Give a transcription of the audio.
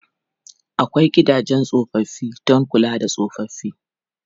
Akwai gidajen tsofaffi don kula da tsofaffi.